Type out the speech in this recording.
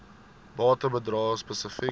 bates bedrae spesifiek